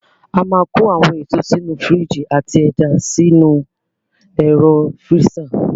A máa kó àwọn èso sí inú fíríjì àti ẹja sínú ẹ̀ro fíríza.